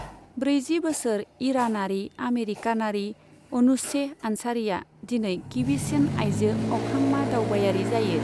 ब्रैजि बोसोर ईरानारि आमेरिकानारि अनुशेह आन्सारिआ दिनै गिबिसिन आइजो अख्रांमा दावबायारि जायो।